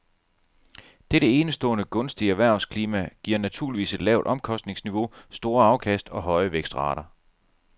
Dette enestående gunstige erhvervsklima giver naturligvis et lavt omkostningsniveau, store afkast og høje vækstrater.